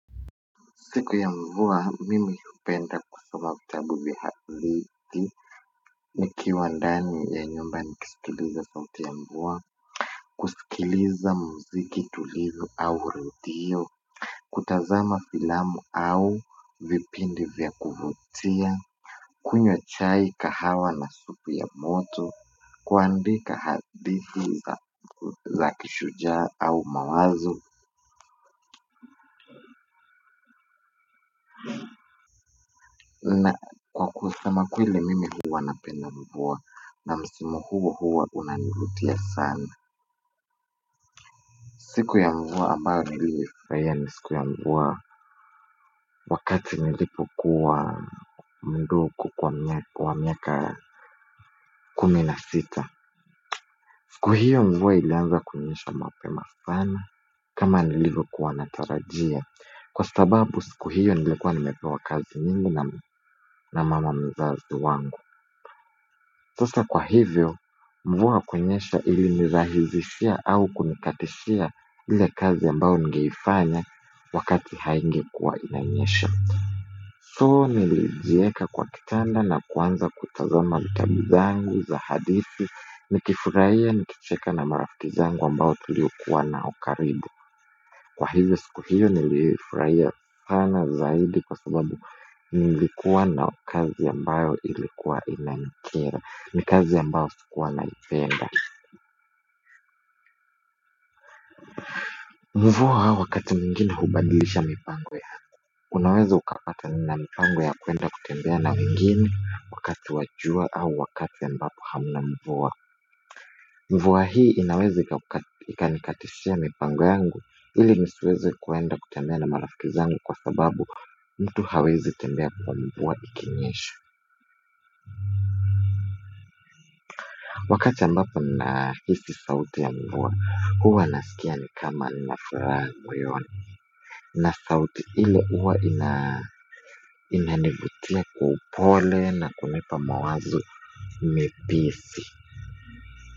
Siku ya mvua mimi hupenda kusoma vitabu vya hadithi. Nikiwa ndani ya nyumba nikisikiliza sauti ya mvua. Kusikiliza muziki tulivu au redio. Kutazama filamu au vipindi vya kuvutia. Kunywa chai kahawa na supu ya moto. Kuandika hadithi za kishujaa au mawazo na kwa kusema kweli mimi huwa napenda mvua na msimu huo huwa unanivutia sana. Siku ya mvua ambayo nilifurahia ni siku ya mvua wakati nilipokuwa mduku kwa miaka kumi na sita. Siku hiyo mvua ilianza kunyesha mapema sana kama nilivyokuwa natarajia. Kwa sababu siku hiyo nilikuwa nimepewa kazi nyingi na mama mzazi wangu. Sasa kwa hivyo mvua kunyesha ilinirahizishia au kunikatishia ile kazi ambao ningeifanya wakati haingekuwa inanyesha So, nilijieka kwa kitanda na kuanza kutazama vitabu zangu za hadithi nikifurahia nikicheka na marafiki zangu ambao tuliokuwa nao karibu. Kwa hivyo siku hiyo nilifurahiya sana zaidi kwa sababu nilikuwa na kazi ambayo ilikuwa inanikera ni kazi ambayo sikuwa naipenda. Mvua wakati mwingine hubadilisha mipango yako. Unaweza ukapata nina mipango ya kwenda kutembea na wengine wakati wa jua au wakati ambapo hamna mvua. Mvua hii inaweza ikanikatishiya mipango yangu ili nisiweze kuenda kutembea na marafiki zangu kwa sababu mtu hawezi tembea kwa mvua ikinyesha. Wakati ambapo nahisi sauti ya mvua huwa nasikia ni kama nafuraha moyoni na sauti ile huwa inanivutia kwa upole na kunipa mawazo mepesi.